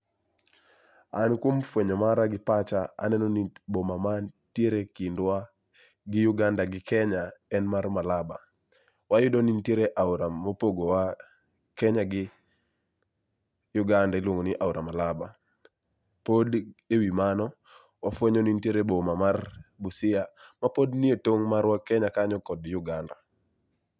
An kuom fwenyo mara gi pacha aneno ni boma mantiere kindwa gi Uganda gi Kenya en mar Malaba. Wayudo ni nitiere aora mopogowa Kenya gi Uganda iluongo ni aora Malaba. Pod ewi mano wafwenyo ni nitiere boma ma Busia mapod nie tong'wa Kenya kanyo gi Uganda